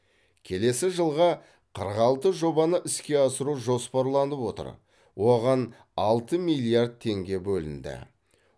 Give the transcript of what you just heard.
келесі жылға қырық алты жобаны іске асыру жоспарланып отыр оған алты миллиард теңге бөлінді